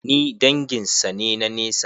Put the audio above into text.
Ni dangin sa ne na nesa.